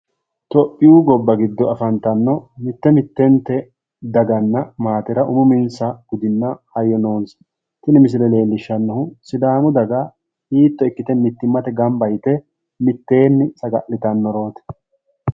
Itiyoophiyu gobba giddo afantanno mitte mittente daganna maatera umi uminsa budinna hayyo noonsa. Tini misile leellishshannohu sidaamu daga hiitto ikkite mittimmate gamba yite mitteenni saga'litannorooti.